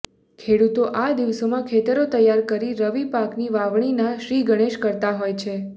ખેડુતો આ દિવસોમાં ખેતરો તૈયાર કરી રવી પાકની વાવણી નાં શ્રીગણેશ કરતાં હોય છે